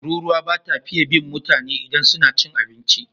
Tururuwa ba ta fiye bin mutane idan suna cin abinci.